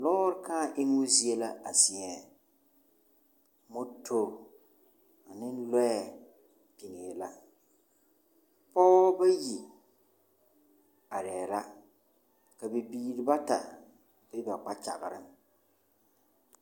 Lɔɔre kãã emmo zie la a zie ŋɛ. Moto ne lɔɛ biŋee la. Pɔgebɔ bayi arɛɛ la, ka bibiiri bata be ba kpakyagreŋ.